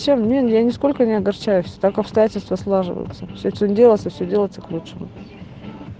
я нисколько не огорчаюсь так обстоятельства складываются все что не делается все делается к лучшему